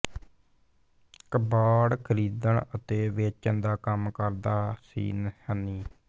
ਕਬਾੜ ਖਰੀਦਣ ਅਤੇ ਵੇਚਣ ਦਾ ਕੰਮ ਕਰਦਾ ਸੀ ਹਨੀ